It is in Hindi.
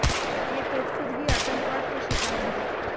ये तो ख़ुद ही आतंकवाद के शिकार हैं